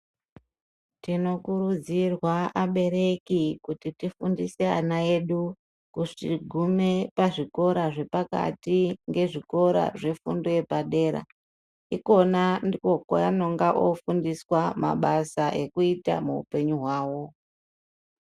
Tino kurudzirwa abereki kuti tifundise ana edu kugume pa zvikora zvepakati nge zvikora zve fundo yepa dera ikona ndiko kwa anonga ofundiswa mabasa ekuita mu upenyu hwawo.